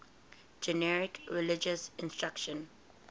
generic religious instruction